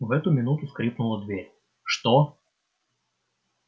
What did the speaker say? в эту минуту скрипнула дверь что